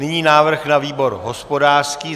Nyní návrh na výbor hospodářský.